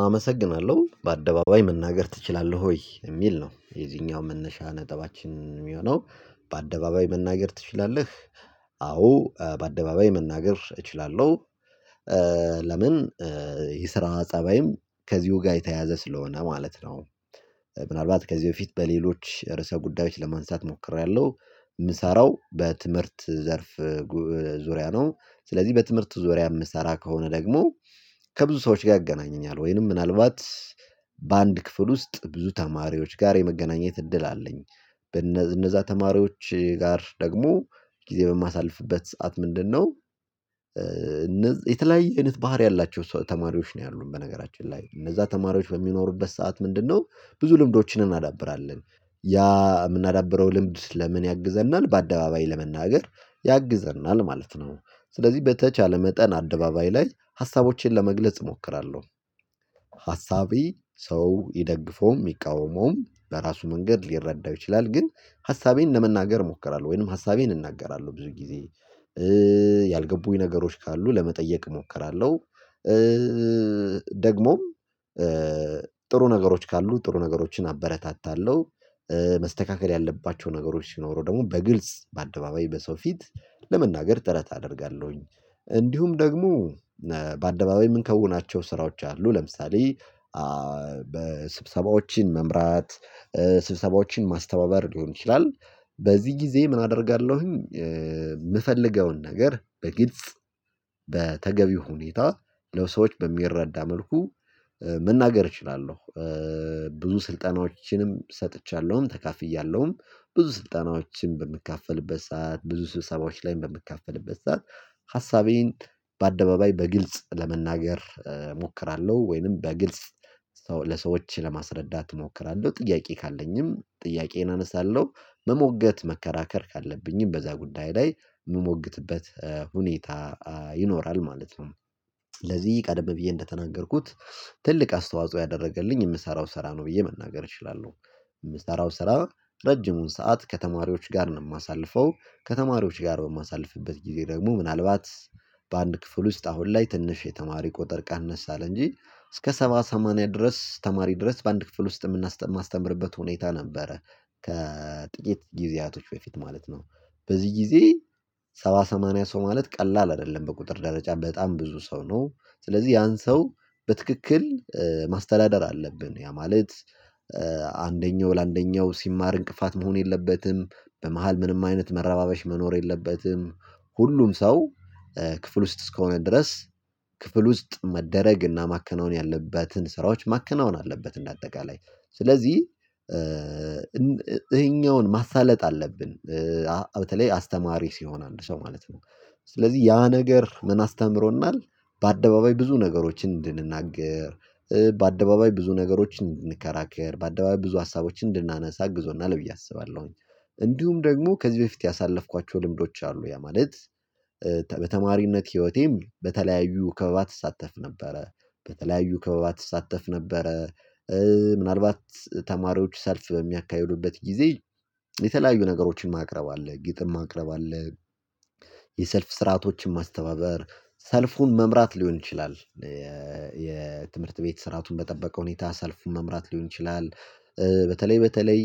አመሰግናለሁ! "በአደባባይ መናገር ትችላለህ ወይ?" የሚል ነው የዚህኛው መነሻ ነጥባችን የሚሆነው በአደባባይ መናገር ትችላለህ አዎ በአደባባይ መናገር እችላለሁ ለምን የስራ ጸባይም ከዚሁ ጋር የተያያዘ ስለሆነ ማለት ነው ምናልባት ከዚህ በፊት በሌሎች ርዕሰ ጉዳዮች ለማንሳት ሞክሬያለሁ። የምሰራው በትምህርት ዘርፍ ዙሪያ ነው። ስለዚህ በትምህርት ዙሪያ የምሰራ ከሆነ ደግሞ ከብዙ ሰዎች ጋር ያገናኘኛል ወይንም ምናልባት በአንድ ክፍል ውስጥ ብዙ ተማሪዎች ጋር የመገናኘት እድል አለኝ እነዛ ተማሪዎች ጋር ደግሞ ጊዜ በማሳልፍበት ሰዓት ምንድነው የተለያየ አይነት ባህሪ ያላቸው ተማሪዎች ነው ያሉን በነገራችን ላይ። እነዛ ተማሪዎች በሚኖሩበት ሰዓት ምንድነው ብዙ ልምዶችን እናዳብራለን። ያ እምናዳብረው ልምድ ለምን ያግዘናል? በአደባባይ ለመናገር ያግዘናል ማለት ነው። ስለዚህ በተቻለ መጠን አደባባይ ላይ ሀሳቦቼን ለመግለጽ እሞክራለሁ። ሀሳቤ ሰው ይደግፈውም ይቃወመውም በራሱ መንገድ ሊረዳው ይችላል ግን ሀሳቤን ለመናገር እሞክራለሁ ወይንም ሀሳቤን እናገራለሁ ብዙ ጊዜ ያልገቡኝ ነገሮች ካሉ ለመጠየቅ እሞክራለሁ ደግሞም ጥሩ ነገሮች ካሉ ጥሩ ነገሮችን አበረታታለሁ መስተካከል ያለባቸው ነገሮች ሲኖሩ ደግሞ በግልጽ በአደባባይ በሰው ፊት ለመናገር ጥረት አደርጋለሁኝ እንዲሁም ደግሞ በአደባባይ ምን እምንከውናቸው ስራዎች አሉ ለምሳሌ በስብሰባዎችን መምራት፣ ስብሰባዎችን ማስተባበር ሊሆን ይችላል። በዚህ ጊዜ ምን አደርጋለሁኝ የምፈልገውን ነገር በግጽ በተገቢ ሁኔታ ለሰዎች በሚረዳ መልኩ መናገር እችላለሁ። ብዙ ስልጠናዎችንም ሰጥቻለሁም ተካፍያለሁም። ብዙ ስልጠናዎችም በምካፈልበት ሰዓት፣ ብዙ ስብሰባዎች ላይ በምካፈልበት ሰዓት ሀሳቤን በአደባባይ በግልጽ ለመናገር እሞክራለሁ ወይንም በግልጽ ለሰዎች ለማስረዳት እሞክራለሁ። ጥያቄ ካለኝም ጥያቄዬን አነሳለሁ። መሞገት፣ መከራከር ካለብኝም በዛ ጉዳይ ላይ የምሞግትበት ሁኔታ ይኖራል ማለት ነው። ለዚህ ቀደም ብዬ እንደተናገርኩት ትልቅ አስተዋጽኦ ያደረገልኝ የምሰራው ስራ ነው ብዬ መናገር እችላለሁ። የምሰራው ስራ ረጅሙን ሰዓት ከተማሪዎች ጋር ነው የማሳልፈው። ከተማሪዎች ጋር በማሳልፍበት ጊዜ ደግሞ ምናልባት በአንድ ክፍል ውስጥ አሁን ላይ ትንሽ የተማሪ ቁጥር ቀነስ አለ እንጂ እስከ ሰባ፣ ሰማንያ ድረስ ተማሪ ድረስ በአንድ ክፍል ውስጥ የማስተምርበት ሁኔታ ነበረ፤ ከጥቂት ጊዜያቶች በፊት ማለት ነው። በዚህ ጊዜ ሰባ ሰማንያ ሰው ማለት ቀላል አይደለም በቁጥር ደረጃ በጣም ብዙ ሰው ነው ስለዚህ ያን ሰው በትክክል ማስተዳደር አለብን ያ ማለት አንደኛው ለአንደኛው ሲማር እንቅፋት መሆን የለበትም። በመሃል ምንም አይነት መረባበሽ መኖር የለበትም። ሁሉም ሰው ክፍል ውስጥ እስከሆነ ድረስ ክፍል ውስጥ መደረግ እና ማከናወን ያለበትን ስራዎች ማከናወን አለበት እንደ አጠቃላይ። ስለዚህ እኛው ማሳለጥ አለብን በተለይ አስተማሪ ሲሆን አንድ ሰው ማለት ነው። ስለዚህ ያ ነገር ምን አስተምሮናል? በአደባባይ ብዙ ነገሮችን እንድንናገር፣ በአደባባይ ብዙ ነገሮችን እንድንከራከር፣ በአደባባይ ብዙ ሀሳቦችን እንድናነሳ አግዞናል ብዬ አስባለሁኝ። እንዲሁም ደግሞ ከዚህ በፊት ያሳለፍኳቸው ልምዶች አሉ። ያ ማለት በተማሪነት ህይወቴም በተለያዩ ክበባት እሳተፍ ነበረ። በተለያዩ ክበባት እሳተፍ ነበረ። ምናልባት ተማሪዎች ሰልፍ በሚያካሄዱበት ጊዜ የተለያዩ ነገሮችን ማቅረብ አለ። ግጥም ማቅረብ አለ የሰልፍ ስርዓቶችን ማስተባበር፣ ሰልፉን መምራት ሊሆን ይችላል የትምህርት ቤት ስርአቱን በጠበቀ ሁኔታ ሰልፉን መምራት ሊሆን ይችላል በተለይ በተለይ